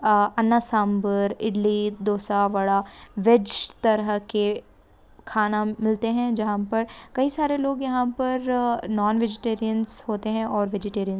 अन्ना sambar idli dosa vada veg तरह के खाना मिलते हे जहाँ पर कही सारे लोग यहाँ पर अं नॉन-वेजीटेरियन होते हे और वेजीटेरियन भी--